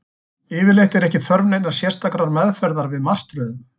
Yfirleitt er ekki þörf neinnar sérstakrar meðferðar við martröðum.